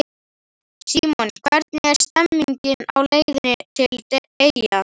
Símon: Hvernig er stemningin á leiðinni til eyja?